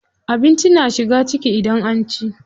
Abinci na shiga ciki idan an ci.